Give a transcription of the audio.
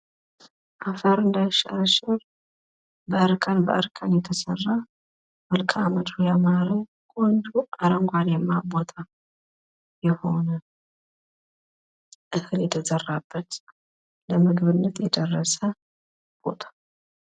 አፈር እንዳይሸረሸር በእርከን በእርከን የተሰራ መልክዓ ምድሩ ያማረ ቆንጆ አረንጓዴማ ቦታ የሆነ እህል የተዘራበት ለምግብነት የደረሰ ቦታ።